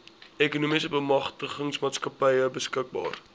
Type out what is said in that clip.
ekonomiese bemagtigingsmaatskappy beskikbaar